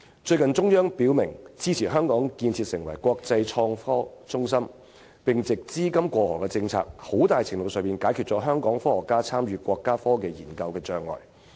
中央最近表明支持香港建設為國際創科中心，並藉"資金過河"政策，在很大程度上解決了香港科學家參與國家科技研究的障礙。